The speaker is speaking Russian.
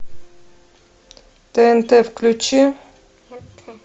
тнт включи